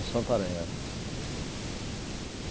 Em Santarém, era.